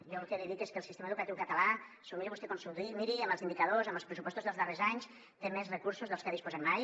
jo el que li dic és que el sistema educatiu català s’ho miri vostè com s’ho miri amb els indicadors amb els pressupostos dels darrers anys té més recursos dels que ha disposat mai